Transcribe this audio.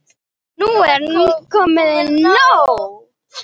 Nú er komið nóg!